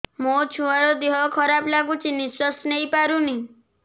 ମୋ ଛୁଆର ଦିହ ଖରାପ ଲାଗୁଚି ନିଃଶ୍ବାସ ନେଇ ପାରୁନି